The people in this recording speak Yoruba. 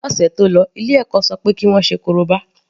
Ní ọ̀sẹ̀ tó lọ ilé ẹ̀kọ́ ṣọ pé kí wọ́n ṣe korobá.